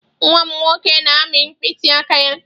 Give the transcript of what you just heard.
Nwa m nwoke na-amị mkpịsị aka ya.